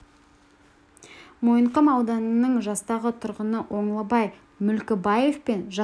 мойынқұм ауданының жастағы тұрғыны оңлабай мүлкібаев пен жастағы қожашқызы тиышкүл өздерінің гауһар тойларын атап өткен